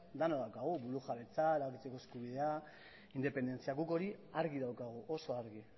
denok daukagu burujabetza arautzeko eskubidea independentzia guk hori argi daukagu oso argi